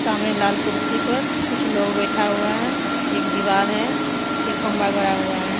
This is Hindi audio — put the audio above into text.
सामने लाल कुर्सी पर कुछ लोग बैठा हुआ है एक दीवाल है पीछे खंबा गड़ा हुआ है।